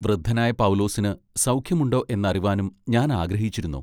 വൃദ്ധനായ പൗലോസിന് സൗഖ്യം ഉണ്ടൊ എന്നറിവാനും ഞാൻ ആഗ്രഹിച്ചിരുന്നു.